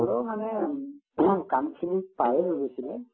হলেও মানে কামখিনি প্ৰায়ে হৈ গৈছিলে